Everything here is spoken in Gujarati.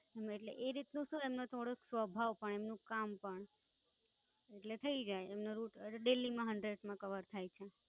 એટલે એ રીતનું એમનું શું નો થોડોક સ્વભાવ પણ એમનું કામ પણ. એટલે થઈ જાય એમનો RutDaily માં Hundred માં કવર થાય છે.